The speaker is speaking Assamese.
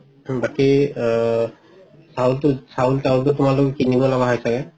বাকি আ চাউলটো চাউলটো তোমালোকে কিনিব লগা হৈছে নে?